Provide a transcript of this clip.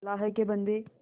अल्लाह के बन्दे